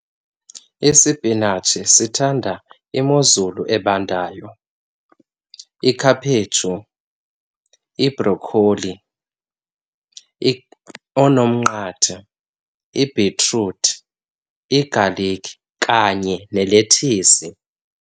Isipinatshi sithanda imozulu ebandayo, ikhaphetshu, ibrokholi, oonomnqathe, ibhitruthi, igalikhi kanye nelethisi.